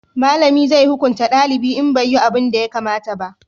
malami zai hukunta dalibi in bai yi abunda ya kamata ba